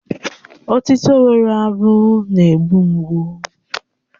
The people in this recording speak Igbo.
Otịto nwere abụ na-egbu mgbu